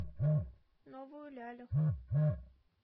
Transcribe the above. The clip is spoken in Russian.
новую лялю